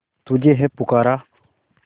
तुझे है पुकारा